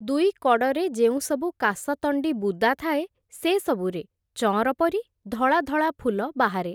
ଦୁଇ କଡ଼ରେ ଯେଉଁ ସବୁ କାଶତଣ୍ଡି ବୁଦା ଥାଏ, ସେସବୁରେ ଚଅଁର ପରି, ଧଳା ଧଳା ଫୁଲ ବାହାରେ ।